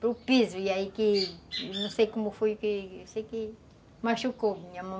para o piso, e aí que... não sei como foi que... eu sei que, machucou minha mão.